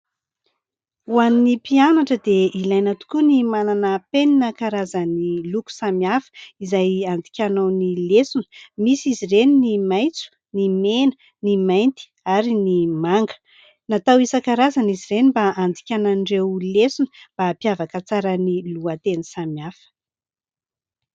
Ho an'ny mpianatra dia ilaina tokoa ny manana penina karazan'ny loko samihafa izay andikanao ny lesona. Misy izy ireny ny maitso ; ny mena ; ny mainty ary ny manga. Natao isan-karazana izy ireny mba andikanan'ireo lesona mba ampiavaka tsara ny lohateny samihafa.